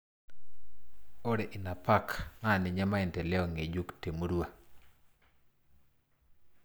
Ore ina pak naa ninye maendeleo ngejuk te murua.